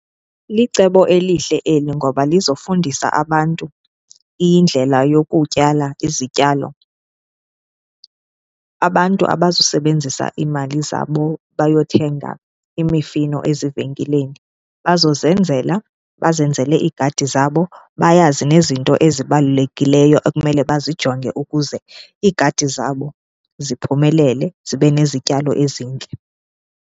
Licebo elihle eli ngoba lizofundisa abantu indlela yokutyala izityalo. Abantu abazusebenzisa iimali zabo bayothenga imifino ezivenkileni, bazozenzela bazenzele iigadi zabo, bayazi nezinto ezibalulekileyo ekumele bazijonge ukuze iigadi zabo ziphumelele zibe nezityalo ezintle.